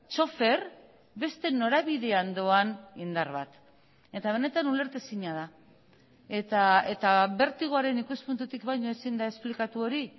txofer beste norabidean doan indar bat eta benetan ulertezina da eta bertigoaren ikuspuntutik baino ezin da esplikatu hori